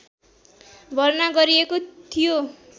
भर्ना गरिएको थियो